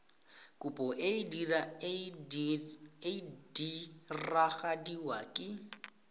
kopo e e diragadiwa ka